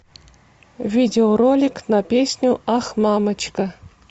видеоролик на песню ах мамочка